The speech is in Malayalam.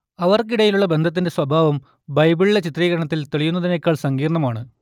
അവർക്കിടയിലുള്ള ബന്ധത്തിന്റെ സ്വഭാവം ബൈബിളിലെ ചിത്രീകരണത്തിൽ തെളിയുന്നതിനേക്കാൾ സങ്കീർണ്ണമാണ്